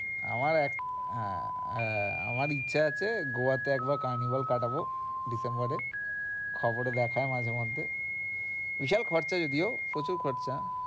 আমার এক হ্যাঁ, হ্যাঁ আমার ইচ্ছা যাচ্ছে গোয়াতে একবার carnival কাটাবো ডিসেম্বরে খবরে দেখায় মাঝেমধ্যে, বিশাল খরচা যদিও প্রচুর খরচা।